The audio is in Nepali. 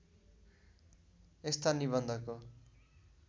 यस्ता निबन्धको